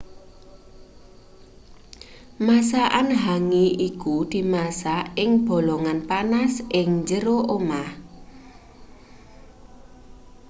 masakan hangi iku dimasak ing bolongan panas ing jero lemah